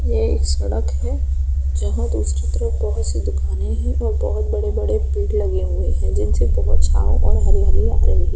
यह एक सड़क है जहां दूसरी तरफ बहुत सी दुकाने हैं और बहुत बड़े-बड़े पेड़ लगे हुए हैं जिनसे बहुत छाँव और हरियाली आ रही है।